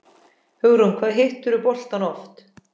Hugrún: Hvað hittirðu boltann oft?